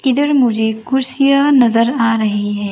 इधर मुझे कुर्सियाँ नजर आ रही हैं।